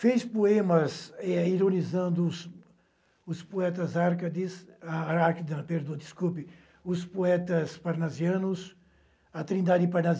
Fez poemas, eh, ironizando os os poetas árcades, ah àrcade, ah, perdoa, desculpe, os poetas parnasianos, a trindade